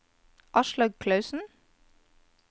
Aslaug Clausen